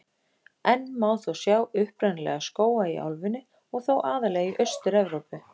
Enn má þó sjá upprunalega skóga í álfunni og þá aðallega í Austur-Evrópu.